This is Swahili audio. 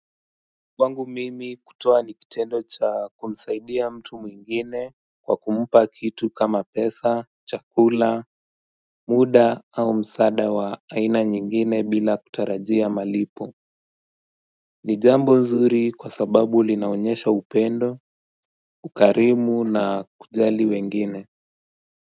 Kwangu mimi kutoa ni kitendo cha kumsaidia mtu mwingine kwa kumpa kitu kama pesa, chakula, muda au msaada wa aina nyingine bila kutarajia malipo ni jambo nzuri kwa sababu linaonyesha upendo, ukarimu na kujali wengine.